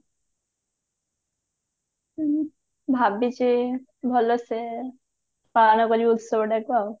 ହୁଁ ଭାବିଛି ଭଲସେ ପାଳନ କରିବି ଉତ୍ସବ ଟାକୁ